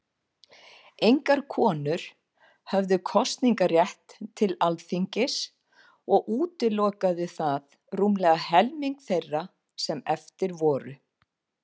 Engar konur höfðu kosningarétt til Alþingis, og útilokaði það rúmlega helming þeirra sem eftir voru.